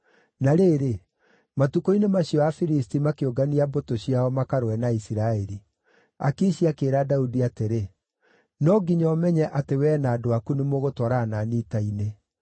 Na rĩrĩ, matukũ-inĩ macio Afilisti makĩũngania mbũtũ ciao makarũe na Isiraeli. Akishi akĩĩra Daudi atĩrĩ, “No nginya ũmenye atĩ wee na andũ aku nĩmũgatwarana na niĩ ita-inĩ.”